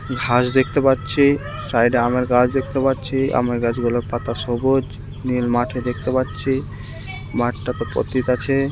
ঘাস দেখতে পাচ্ছি সাইড -এ আমের গাছ দেখতে পাচ্ছি আমের গাছগুলোর পাতা সবুজ নীল মাঠি দেখতে পাচ্ছি মাঠটা তো পতিত আছে।